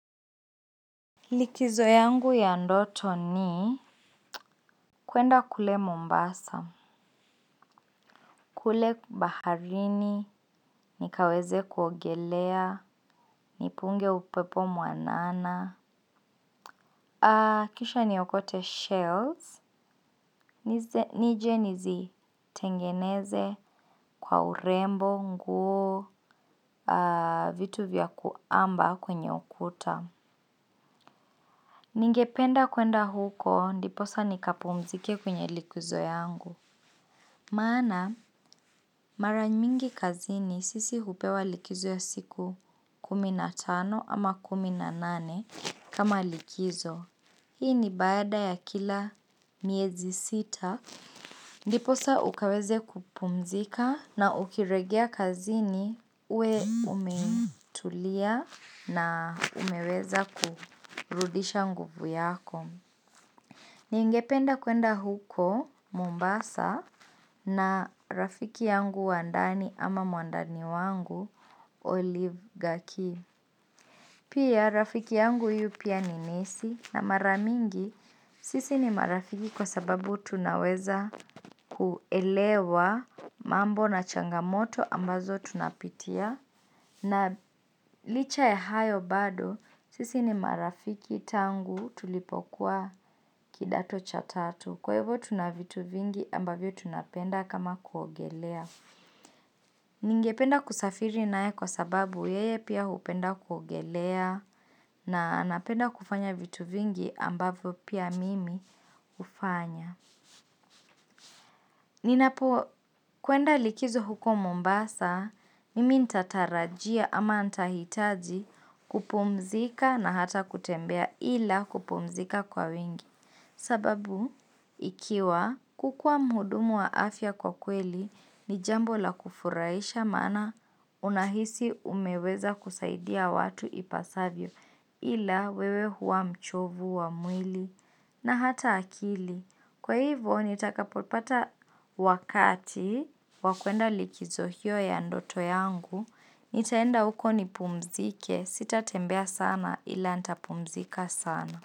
Likizo yangu ya ndoto ni kuenda kule mombasa. Kule baharini nikaweze kuogelea. Nipunge upepo mwanana kisha ni okote shells. Nije nizi tengeneze kwa urembo Nguo Vitu vya kuamba kwenye ukuta. Ningependa kuenda huko. Ndiposa nikapumzike kwenye likizo yangu. Maana maranymingi kazini sisi hupewa likizo ya siku kuminatano ama kuminanane kama likizo. Hii ni bada ya kila miezi sita. Ndiposa ukaweze kupumzika na ukiregea kazini ue umetulia na umeweza kurudisha nguvu yako. Ni ingependa kuenda huko Mombasa na rafiki yangu wandani ama muandani wangu Olive Gaki. Pia rafiki yangu yu pia ninesi na maramingi sisi ni marafiki kwa sababu tunaweza kuelewa mambo na changamoto ambazo tunapitia. Na licha ya hayo bado, sisi ni marafiki tangu tulipokuwa kidato cha tatu. Kwa evo tunavitu vingi ambavyo tunapenda kama kuogelea. Ningependa kusafiri nae kwa sababu yeye pia upenda kuogelea. Na anapenda kufanya vitu vingi ambavyo pia mimi ufanya. Ninapo kuenda likizo huko Mombasa, mimi ntatarajia ama ntahitaji kupumzika na hata kutembea ila kupumzika kwa wingi. Sababu, ikiwa kukua mhudumu wa afya kwa kweli, ni jambo la kufuraisha mana unahisi umeweza kusaidia watu ipasavyo ila wewe hua mchovu wa mwili na hata akili. Kwa hivo, nitakapopata wakati, wakuenda likizo hiyo ya ndoto yangu, nitaenda huko nipumzike, sitatembea sana ila nitapumzika sana.